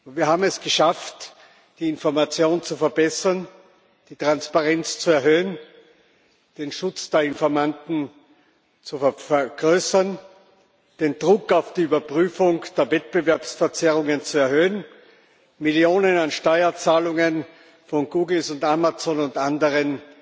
Wir haben es geschafft, die Informationen zu verbessern, die Transparenz zu erhöhen, den Schutz der Informanten zu vergrößern, den Druck auf die Überprüfung der Wettbewerbsverzerrungen zu erhöhen, Millionen an Steuerzahlungen von Google, Amazon und anderen